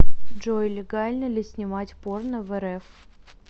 джой легально ли снимать порно в рф